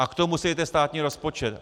A k tomu si dejte státní rozpočet.